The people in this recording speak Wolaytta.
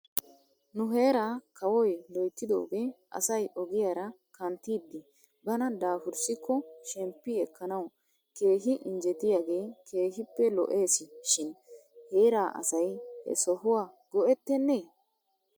Nu heeraa kawoy loyttidoogee asay ogiyaara kanttiiddi bana daafurssikko shemppi ekkanaw keehi injjetiyaagee keehippe lo'es shin heeraa asay he sohuwa go'ettenee?